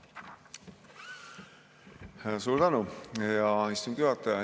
Väga suur tänu, hea istungi juhataja!